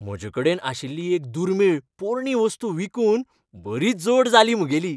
म्हजेकडेन आशिल्ली एक दुर्मीळ पोरणी वस्त विकून बरी जोड जाली म्हगेली.